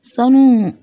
Sanu